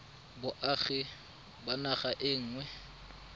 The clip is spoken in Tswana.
boagi ba naga e nngwe